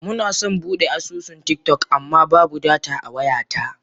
Muna son Bude asusun tiktok amma babu data a wayata.